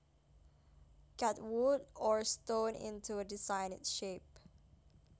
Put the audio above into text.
cut wood or stone into a designed shape